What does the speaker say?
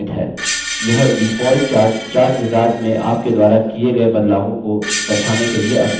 यह default chart chartwizard में आप के द्वारा किये गये बदलावों को दर्शाने के लिए अपडेट करता है